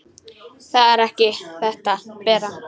Það er ekki þetta, Bera!